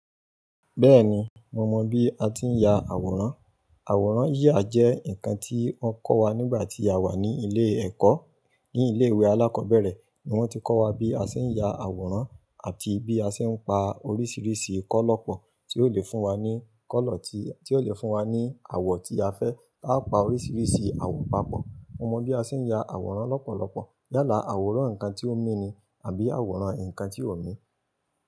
Bẹ́ẹ̀ni, mo mọ bí a ti ń ya àwòrán. Àwòrán yíyà jẹ́ nǹkan tí wọ́n kọ́ wa nígbà tí a wà ní ilé ẹ̀kọ́. Ní ilé ìwé alákọ̀ọ́bẹ̀rẹ̀ ni wọ́n ti kọ́ wa bí a ṣe ń ya àwòrán àti bí a ṣe ń pa oríṣiríṣi kọ́lọ̀ pọ̀ tí ó lè fún wa ní kọ́lọ̀ tí, tí ó lè fún wa ní àwọ̀ tí a fẹ́. Tá a pa oríṣiríṣi àwọ̀ papọ̀. Mo mọ bí a ṣe ń ya àwòrán lọ́pọ̀lọpọ̀. Yálà àwòrán ǹkan tí ó mí ni àbí àwòrán ǹkan tí ò mí.